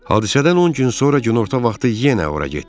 Hadisədən 10 gün sonra günorta vaxtı yenə ora getdi.